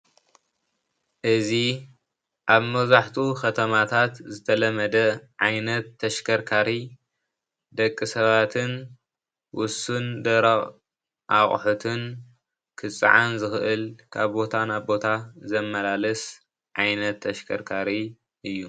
እዚ ኣብ መብዛሕቱኡ ከተማታት ዝተለመደ ዓይነት ተሽከርካሪ ደቂ ሰባትን ውሱን ደረቅ ኣቁሑትን ክፀዓን ዝከእል ካብ ቦታ ናብ ቦታ ዘመላልስ ዓይነት ተሽከርካሪ እዩ።